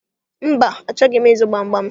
Mba, achọghị m ịzụ gbamgbam